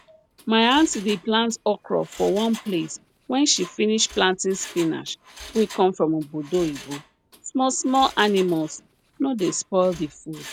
my aunty dey plant okra for one place when she finish planting spinach wey come from obodo oyibo smallsmall animals no dey spoil the food